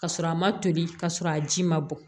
Ka sɔrɔ a ma toli ka sɔrɔ a ji ma bɔ